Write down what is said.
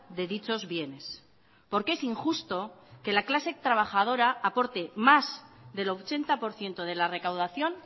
de dichos bienes porque es injusto que la clase trabajadora aporte más del ochenta por ciento de la recaudación